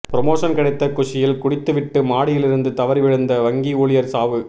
promotion கிடைத்த குஷியில் குடித்துவிட்டு மாடியில் இருந்து தவறி விழுந்த வங்கி ஊழியர் சாவு